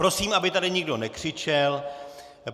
Prosím, aby tady nikdo nekřičel.